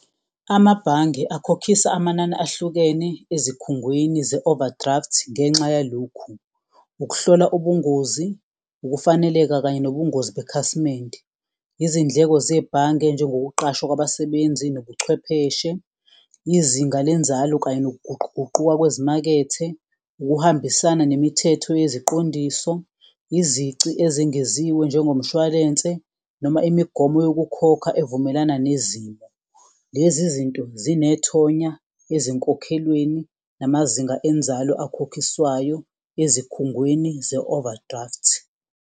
Amabhange akhokhisa amanani ahlukene ezikhungweni ze-overdraft ngenxa yalokhu, ukuhlola ubungozi, ukufaneleka kanye nobungozi bekhasimende, izindleko zebhange njengoba kuqashwa kwabasebenzi nobuchwepheshe, izinga lenzalo kanye nokuguquguquka kwezimakethe. Ukuhambisana nemithetho yeziqondiso, izici ezingeziwe njengomshwalense noma imigomo yokukhokha evumelana nezimo, lezi zinto zinethonya ezinkokhelweni namazinga enzalo akhokhiswayo ezikhungweni ze-overdraft.